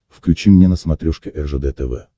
включи мне на смотрешке ржд тв